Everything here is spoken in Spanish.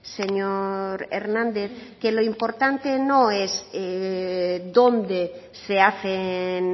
señor hernández que lo importante no es dónde se hacen